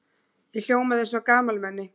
Ég hljómaði eins og gamalmenni.